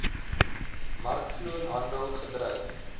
markvloer handel gedryf